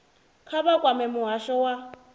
kha vha kwame muhasho wa